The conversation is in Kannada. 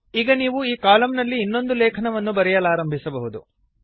ಈಗ ನೀವು ಈ ಕಾಲಮ್ ನಲ್ಲಿ ಇನ್ನೊಂದು ಲೇಖನವನ್ನು ಬರೆಯಲಾರಂಭಿಸಬಹುದು